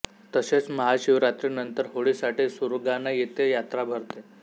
तसेच महाशिवरात्री नंतर होळी साठी सुरगाणा येथे यात्रा भरते